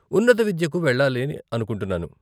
ఉన్నత విద్యకు వెళ్లాలి అనుకుంటున్నాను.